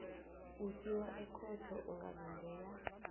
usiwa ekhotho ungalindela